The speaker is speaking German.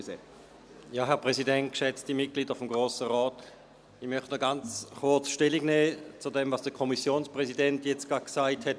Ich möchte noch ganz kurz Stellung nehmen zu dem, was der Kommissionspräsident jetzt gerade gesagt hat.